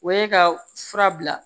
O ye ka fura bila